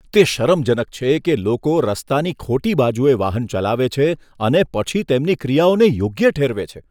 તે શરમજનક છે કે લોકો રસ્તાની ખોટી બાજુએ વાહન ચલાવે છે અને પછી તેમની ક્રિયાઓને યોગ્ય ઠેરવે છે.